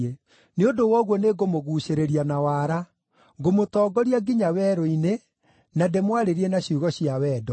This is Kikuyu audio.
“Nĩ ũndũ wa ũguo nĩngũmũguucĩrĩria na waara; ngũmũtongoria nginya werũ-inĩ, na ndĩmwarĩrie na ciugo cia wendo.